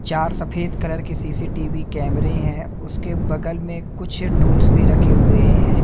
चार सफेद कलर के सी_सी_टी_वी कैमरे हैं उसके बगल में कुछ टूल्स भी रखे हुए हैं।